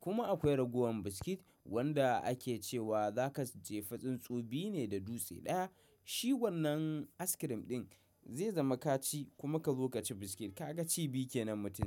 Kuma akwai ragowan biskit wanda ake ce wa zaka jefi tsuntsu biyu ne da dutse ɗaya. Shi wannan askirim ɗin zai zama ka ci kuma kazo ka ci biskit kaga ci biyu kenan mutum.